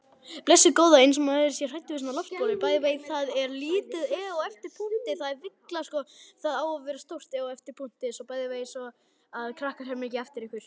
Blessuð góða. eins og maður sé hræddur við svona loftbólu!